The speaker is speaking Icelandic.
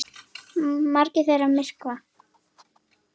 Margar þeirra myrkva.